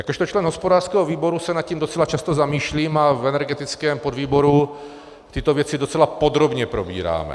Jakožto člen hospodářského výboru se nad tím docela často zamýšlím a v energetickém podvýboru tyto věci docela podrobně probíráme.